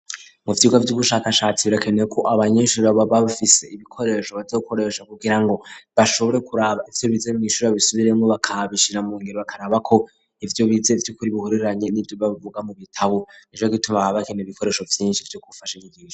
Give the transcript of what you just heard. Mu vyiga vy'ubushakashatsi birakenewe ko abanyeshuri baba bafise ibikoresho bazokoresha kugira ngo, bashobore kuraba ivyo bize mw'ishuri babisubiremwo bakabishira mu ngiro bakaraba ko, ivyo bize vy'ukuri bihuriranye n'ivyo bavuga mu bitabo, ni co gituma baba bakeneye ibikoresho vyinshi vyo kufasha inyigisho.